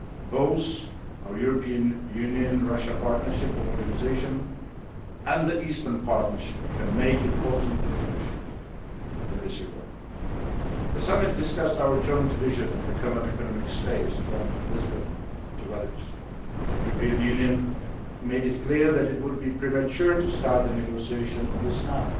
Both our European Union Russia Partnership for Modernisation, and the Eastern Partnership can make important contributions in this regard. The summit discussed our joint vision for a Common Economic Space from Lisbon to Vladivostok. The European Union made it clear that it would be premature to start negotiations on this